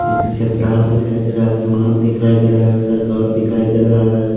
बिजली का तार दिखाई दे रहा है आसमान दिखाई दे रहा है उस घर दिखाई दे रहा है।